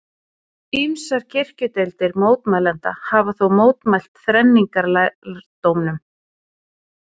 Ýmsar kirkjudeildir mótmælenda hafa þó mótmælt þrenningarlærdómnum.